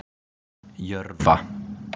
Jörfa